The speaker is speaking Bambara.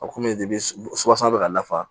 A komi i bɛ sɔ kɔnɔ bi ka nafa